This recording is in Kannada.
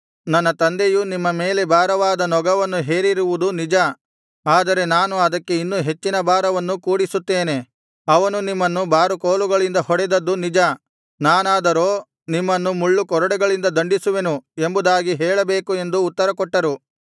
ನನ್ನ ತಂದೆಯು ನಿಮ್ಮ ಮೇಲೆ ಭಾರವಾದ ನೊಗವನ್ನು ಹೇರಿರುವುದು ನಿಜ ಆದರೆ ನಾನು ಅದಕ್ಕೆ ಇನ್ನೂ ಹೆಚ್ಚಿನ ಭಾರವನ್ನು ಕೂಡಿಸುತ್ತೇನೆ ಅವನು ನಿಮ್ಮನ್ನು ಬಾರುಕೋಲುಗಳಿಂದ ಹೊಡೆದದ್ದು ನಿಜ ನಾನಾದರೋ ನಿಮ್ಮನ್ನು ಮುಳ್ಳುಕೊರಡೆಗಳಿಂದ ದಂಡಿಸುವೆನು ಎಂಬುದಾಗಿ ಹೇಳಬೇಕು ಎಂದು ಉತ್ತರಕೊಟ್ಟರು